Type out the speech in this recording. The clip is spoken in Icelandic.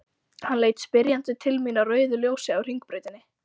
Hann leit spyrjandi til mín á rauðu ljósi á Hringbrautinni.